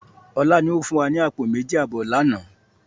Ọlá ni ó fún wa ní àpò méjì àbọ̀ lànà